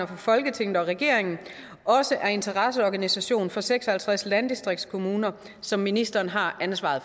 for folketinget og regeringen også er interesseorganisation for seks og halvtreds landdistriktskommuner som ministeren har ansvaret